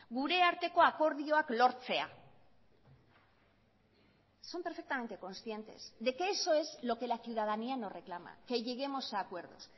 gure arteko akordioak lortzea son perfectamente conscientes de que eso es lo que la ciudadanía nos reclama que lleguemos a acuerdos